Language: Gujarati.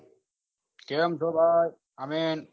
કેમ છો ભાઈ અમીન